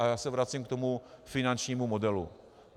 A já se vracím k tomu finančnímu modelu.